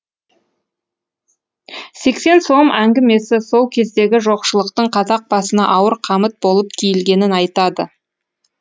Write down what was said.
сексен сом әңгімесі сол кездегі жоқшылықтың қазақ басына ауыр қамыт болып киілгенін айтады